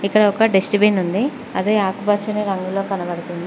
ఇక్కడ ఒక డష్టబిన్ ఉంది అదే ఆకుపచ్చని రంగులో కనబడుతుంది.